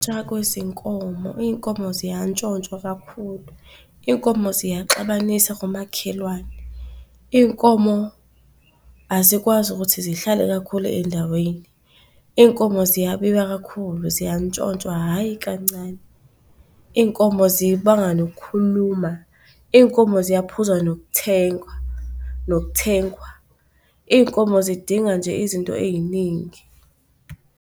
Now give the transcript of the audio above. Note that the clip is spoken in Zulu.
kwezinkomo, iy'nkomo ziyantshontshwa kakhulu. Iy'nkomo ziyaxabanisa komakhelwane, iy'nkomo azikwazi ukuthi zihlale kakhulu endaweni, iy'nkomo ziyabiwa kakhulu, ziyantshontshwa hhayi kancane. Iy'nkomo zibanga nokhuluma, iy'nkomo ziyaphuza nokuthengwa, nokuthengwa, iy'nkomo zidinga nje izinto ey'ningi.